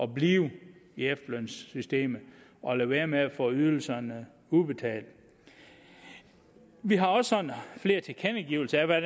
blive i efterlønssystemet og lade være med at få ydelserne udbetalt vi har også sådan flere tilkendegivelser af hvad